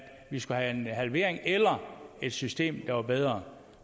vi skulle have en halvering eller et system der var bedre